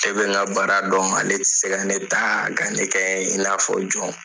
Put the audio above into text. Ne bɛ n ka baara dɔn ale ti se ka ne ta ka ne kɛ i n'a fɔ jɔn.